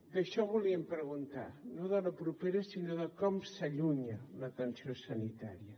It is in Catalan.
d’això volíem preguntar no de la propera sinó de com s’allunya l’atenció sanitària